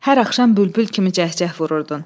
Hər axşam bülbül kimi cəhcəh vururdun.